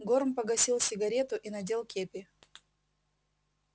горм погасил сигарету и надел кепи